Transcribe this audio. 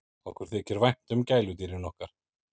Okkur þykir vænt um gæludýrin okkar.